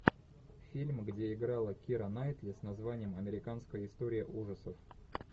фильм где играла кира найтли с названием американская история ужасов